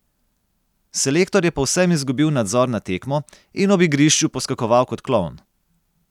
Selektor je povsem izgubil nadzor nad tekmo in ob igrišču poskakoval kot klovn.